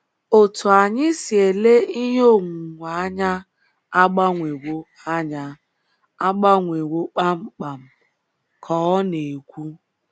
“ Otú anyị si ele ihe onwunwe anya agbanwewo anya agbanwewo kpam kpam, ” ka ọ na - ekwu.